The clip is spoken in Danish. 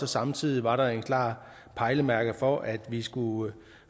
samtidig var der et klart pejlemærke for at vi skulle